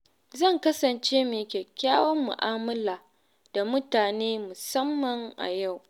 Zan kasance mai kyakkyawar mu’amala da mutane musamman a yau.